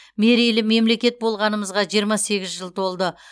мерейлі мемлекет болғанымызға жиырма сегіз жыл толды